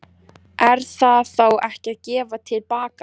Er það þá ekki að gefa til baka?